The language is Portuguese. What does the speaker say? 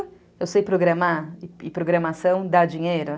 Eu sei programar e programação dá dinheiro?